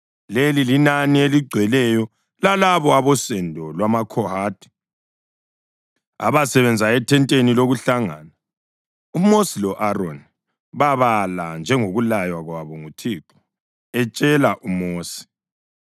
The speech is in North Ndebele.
Leli linani eligcweleyo lalabo abosendo lwamaKhohathi abasebenza ethenteni lokuhlangana. UMosi lo-Aroni babala njengokulaywa kwabo nguThixo etshela uMosi.